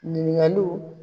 Ɲinigaliw